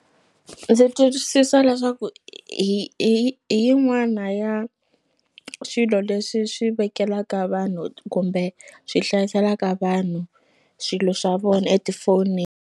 Ndzi twisisa leswaku hi hi hi yin'wana ya swilo leswi swi vekelaka vanhu kumbe swi hlayiselaka vanhu swilo swa vona .